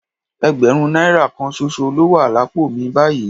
Ẹgbẹ̀rún náírà kan ṣoṣo ló wà lápò mi báyìí